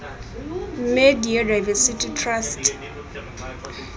media diversity trust